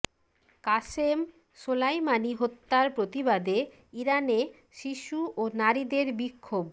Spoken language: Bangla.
কাসেম সোলাইমানি হত্যার প্রতিবাদে ইরানে শিশু ও নারীদের বিক্ষোভ